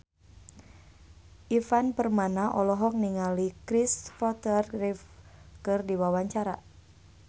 Ivan Permana olohok ningali Kristopher Reeve keur diwawancara